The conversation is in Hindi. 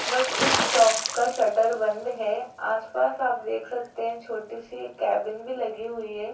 बट इस शॉप का शटर बंद है आसपास आप देख सकते हैं छोटी सी एक केबिन भी लगी हुई है।